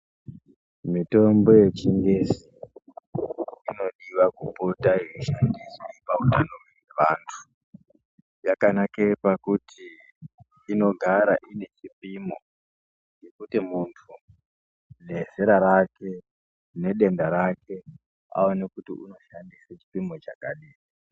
Mitombo yechingezi inodiwa kupota ichishandiswa pautano hwevantu. Yakanake pakuti inogara inechipimo, kuti muntu, nezera rake, nedenda rake aone kuti unoshandisa chipimo chakadini.